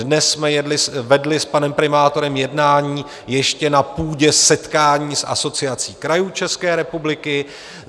Dnes jsme vedli s panem primátorem jednání ještě na půdě setkání s Asociací krajů České republiky.